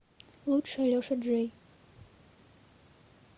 лучшее леша джей